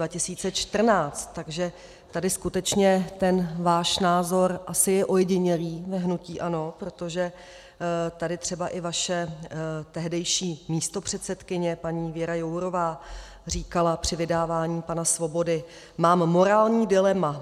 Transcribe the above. Takže tady skutečně ten váš názor asi je ojedinělý v hnutí ANO, protože tady třeba i vaše tehdejší místopředsedkyně paní Věra Jourová říkala při vydávání pana Svobody: "Mám morální dilema.